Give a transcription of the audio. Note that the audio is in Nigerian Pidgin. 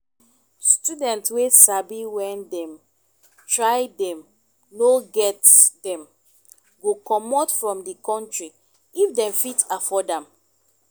student wey sabi when dem try dem no get dem go comot from di country if dem fit afford am